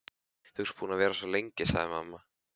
Þú ert búin að vera svo lengi, sagði mamma.